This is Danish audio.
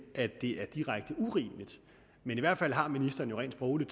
at det er direkte urimeligt men i hvert fald har ministeren jo rent sprogligt